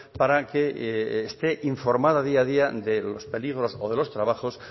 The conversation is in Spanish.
para que esté informada día a día de los peligros o de los trabajos